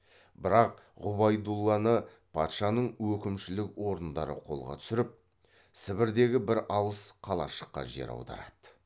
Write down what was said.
бірақ ғұбайдулланы патшаның өкімшілік орындары қолға түсіріп сібірдегі бір алыс қалашыққа жер аударады